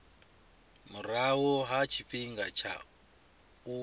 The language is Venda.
murahu ha tshifhinga tsha u